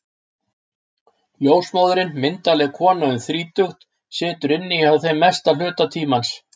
Ljósmóðirin, myndarleg kona um þrítugt, situr inni hjá þeim mestan hluta tímans.